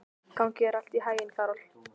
Gangi þér allt í haginn, Karol.